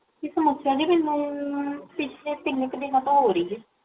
ਇਹ ਸਮਸਿਆ ਜੀ ਮੈਨੂ ਪਿਛਲੇ ਤਿਨ ਮਹੀਨਿਆ ਤੋ ਹੋ ਰਹੀ ਹੈ